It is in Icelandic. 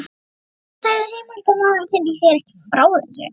Hvers vegna sagði heimildarmaður þinn þér ekki frá þessu?